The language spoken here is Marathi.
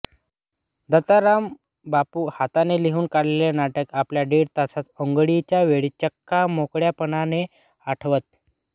दत्तारामबापू हाताने लिहून काढलेले नाटक आपल्या दीड तासाच्या आंधोळीच्या वेळी चक्क मोकळेपणाने आठवत